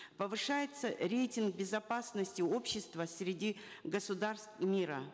повышается рейтинг безопасности общества среди государств мира